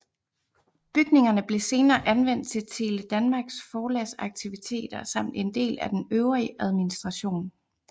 Bygningerne blev senere anvendt til Tele Danmarks forlagsaktiviteter samt en del af den øvrige administration